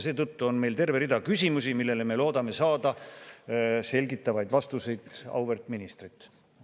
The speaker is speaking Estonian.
Seetõttu on meil terve hulk küsimusi, millele me loodame saada selgitavaid vastuseid auväärt ministrilt.